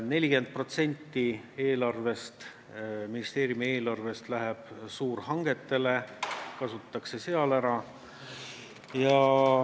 40% ministeeriumi eelarvest läheb suurhangetele, kasutatakse seal ära.